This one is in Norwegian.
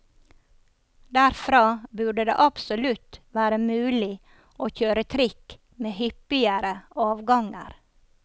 Derfra burde det absolutt være mulig å kjøre trikk med hyppigere avganger.